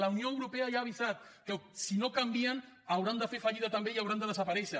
la unió europea ja ha avisat que si no canvien hauran de fer fallida també i hauran de desaparèixer